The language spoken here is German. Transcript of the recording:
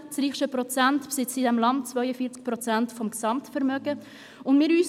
Das reichste Prozent der Bevölkerung in diesem Land besitzt 42 Prozent des Gesamtvermögens.